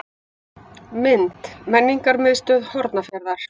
Mynd: Menningarmiðstöð Hornafjarðar.